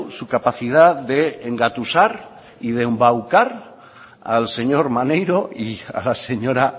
su capacidad de engatusar y de embaucar al señor maneiro y a la señora